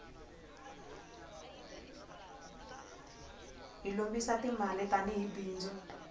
hi lombisa ti mali tani hi bindzu